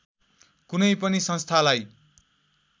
कुनै पनि संस्थालाई